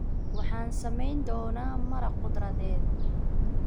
Waxaan samayn doonaa maraq khudradeed.